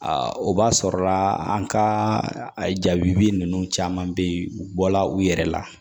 o b'a sɔrɔla an ka jaabi ninnu caman bɛ yen u bɔla u yɛrɛ la